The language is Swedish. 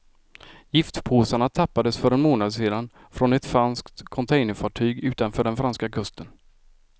Giftpåsarna tappades för en månad sedan från ett franskt containerfartyg utanför den franska kusten.